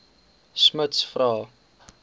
smuts vra